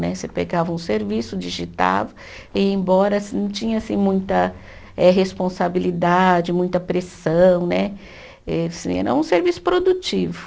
Né, você pegava um serviço, digitava, e embora não tinha assim muita eh responsabilidade, muita pressão né, e eh era um serviço produtivo.